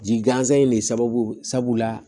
Ji gansan in de sababu la